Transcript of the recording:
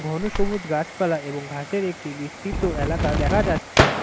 ঘনসবুজ গাছপালা এবং ঘাসের একটি বিস্তৃত এলাকা দেখা যাচ্ছে।